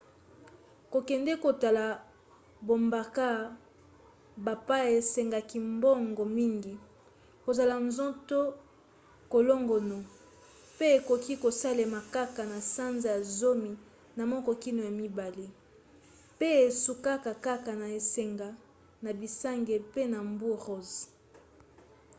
kokende kotala bamboka bapaya esengaka mbongo mingi kozala nzoto kolongono pe ekoki kosalema kaka na sanza ya zomi na moko kino ya mibale pe esukaka kaka na esanga na bisanga pe na mbu ross